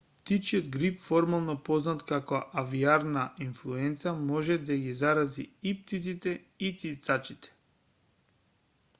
птичјиот грип формално познат како авијарна инфлуенца може да ги зарази и птиците и цицачите